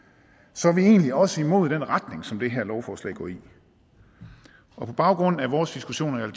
så er vi egentlig også imod den retning som det her lovforslag går i og på baggrund af vores diskussioner i